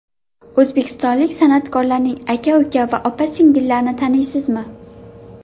O‘zbekistonlik san’atkorlarning aka-uka va opa-singillarini taniysizmi?.